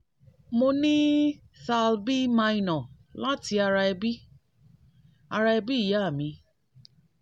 mo ni thal b minor lati ara ebi ara ebi iya mi